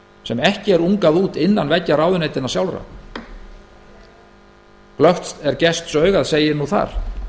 sem ekki er ungað út innan veggja ráðuneytanna sjálfra glöggt er gestsaugað segir nú þar